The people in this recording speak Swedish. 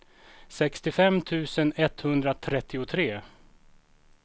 sextiofem tusen etthundratrettiotre